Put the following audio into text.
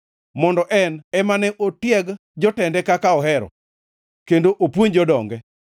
mondo en ema ne otieg jotende kaka ohero kendo opuonj jodonge.